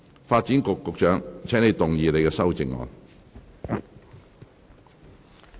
發展局局長，請動議你的修正案。